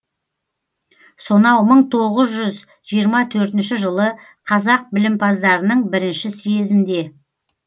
сонау мың тоғыз жүз жиырма төртінші жылы қазақ білімпаздарының бірінші съезінде